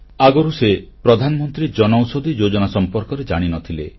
ଆଗରୁ ସେ ପ୍ରଧାନମନ୍ତ୍ରୀ ଜନଔଷଧିଯୋଜନା ସମ୍ପର୍କରେ ଜାଣି ନଥିଲେ